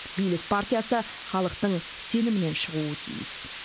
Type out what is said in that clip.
билік партиясы халықтың сенімінен шығуы тиіс